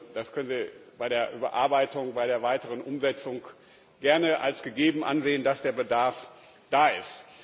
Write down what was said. Das können Sie bei der Überarbeitung, bei der weiteren Umsetzung gern als gegeben ansehen, dass der Bedarf da ist.